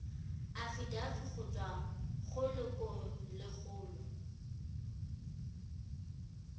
afitafiti go tswa go lelokolegolo